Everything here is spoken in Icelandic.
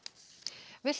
villtar